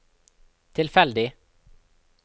tilfeldig